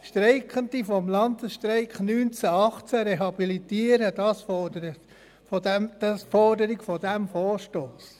Streikende des Landesstreiks von 1918 rehabilitieren, so die Forderung dieses Vorstosses.